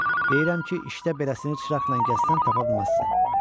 deyirəm ki, işdə beləsini çıraqla gəzsən tapa bilməzsən.